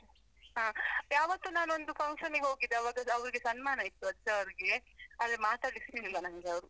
ಹಾ, ಯಾವತ್ತೋ ನಾನೊಂದು function ಗೆ ಹೋಗಿದ್ದೆ, ಆವಾಗ ಅವರಿಗೆ ಸನ್ಮಾನ ಇತ್ತು sir ಗೆ ಆದ್ರೆ ಮಾತಾಡ್ಲಿಕ್ಕೆ ಸಿಗ್ಲಿಲ್ಲ ನಂಗೆ ಅವರು.